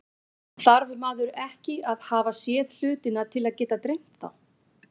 Þarf maður ekki að hafa séð hlutina til að geta dreymt þá?